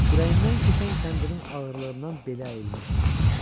Kürəyindən keçən kəndirin ağırlığından belə əyilmişdi.